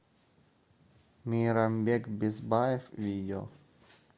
мейрамбек бесбаев видео